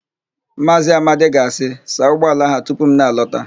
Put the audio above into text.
Maazị Amadi ga-asị, "saa ụgbọala a tupu m na-alọta"!